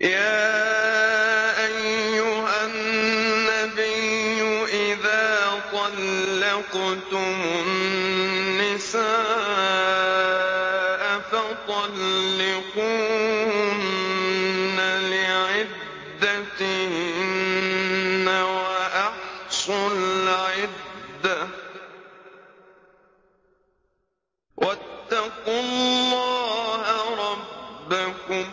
يَا أَيُّهَا النَّبِيُّ إِذَا طَلَّقْتُمُ النِّسَاءَ فَطَلِّقُوهُنَّ لِعِدَّتِهِنَّ وَأَحْصُوا الْعِدَّةَ ۖ وَاتَّقُوا اللَّهَ رَبَّكُمْ ۖ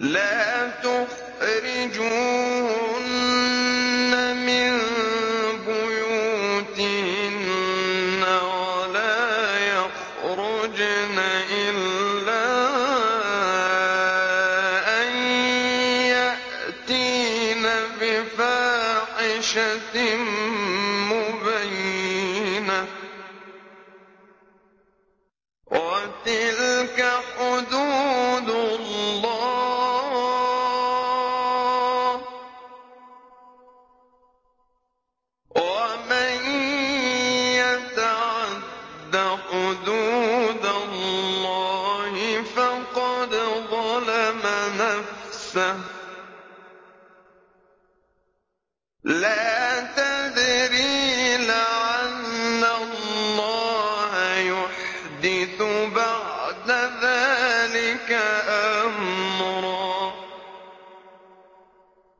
لَا تُخْرِجُوهُنَّ مِن بُيُوتِهِنَّ وَلَا يَخْرُجْنَ إِلَّا أَن يَأْتِينَ بِفَاحِشَةٍ مُّبَيِّنَةٍ ۚ وَتِلْكَ حُدُودُ اللَّهِ ۚ وَمَن يَتَعَدَّ حُدُودَ اللَّهِ فَقَدْ ظَلَمَ نَفْسَهُ ۚ لَا تَدْرِي لَعَلَّ اللَّهَ يُحْدِثُ بَعْدَ ذَٰلِكَ أَمْرًا